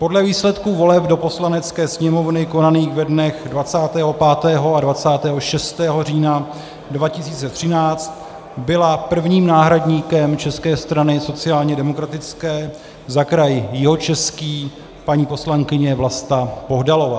Podle výsledků voleb do Poslanecké sněmovny konaných ve dnech 25. a 26. října 2013 byla prvním náhradníkem České strany sociálně demokratické za kraj Jihočeský paní poslankyně Vlasta Bohdalová.